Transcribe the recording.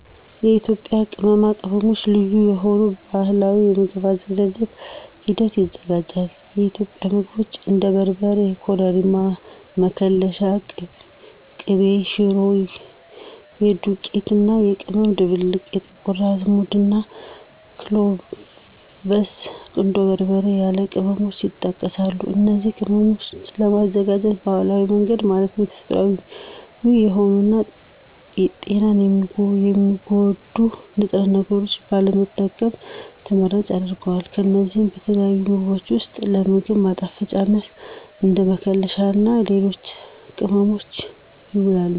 የኢትዮጵያ ቅመማ ቅመሞች ልዩ በሆኑ ባህላዊ የምግብ አዘገጃጀት ሂደት ይዘጋጃል። የኢትዮጵያ ምግቦች እንደ በርበሬ፣ ኮረሪማ፣ መከለሻ፣ ቅቤ ሽሮ (የዱቄት እና ቅመም ድብልቅ)፣ ጥቁር አዝሙድ፣ እና ክሎቭስ፣ ቁንዶ በርበሬ ያሉ ቅመሞችን ይጠቀሳሉ። እነዚን ቅመሞች ለማዘጋጀት ባህላዊ መንገድ ማለትም ተፈጥሮአዊ የሆኑ እና ጤናን የሚጎዱ ንጥረ ነገሮችን ባለመጠቀሙ ተመራጭ ያደርጋቸዋል። እነዚህ በተለያዩ ምግቦች ውስጥ ለ ምግብ ማጣፈጫነት፣ እንደ መከለሻ እና ለሌሎች ጥቅሞችም ይውላሉ።